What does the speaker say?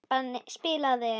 Kreppan spilaði inn í.